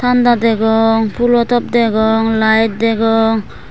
danda degong pholo top degong light degong.